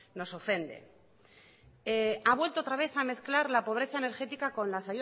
nos ofende ha vuelto otra vez a mezclar la pobreza energética con las